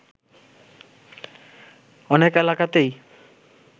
অনেক এলাকাতেই